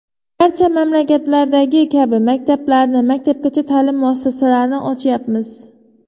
Barcha mamlakatlardagi kabi maktablarni, maktabgacha ta’lim muassasalarini ochyapmiz.